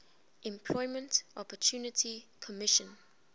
employment opportunity commission